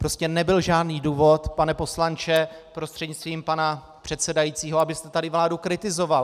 Prostě nebyl žádný důvod, pane poslanče prostřednictvím pana předsedajícího, abyste tady vládu kritizoval.